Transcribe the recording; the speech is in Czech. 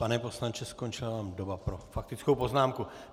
Pane poslanče, skončila vám doba pro faktickou poznámku.